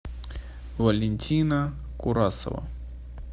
валентина курасова